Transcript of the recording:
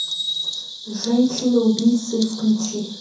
женщины убийцы включи